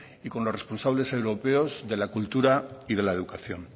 y con los responsables europeos de la cultura y de la educación